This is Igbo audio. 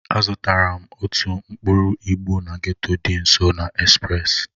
Azụtara m otu mkpọ ịgbo na getto dị nso na express